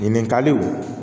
Ɲininkaliw